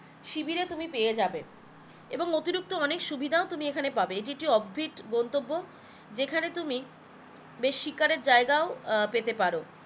শিবিরে তুমি পেয়ে যাবে এবং অতিরিক্ত অনেক সুবিধাও তুমি এখানে পাবে, এটি একটি গন্তব্য যেখানে তুমি বেশ শিকারের জায়গাও আহ পেতে পারো